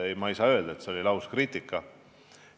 Ei, ma ei saa öelda, et see oli lauskriitika.